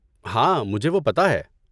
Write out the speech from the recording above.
ہاں، مجھے وہ پتہ ہے۔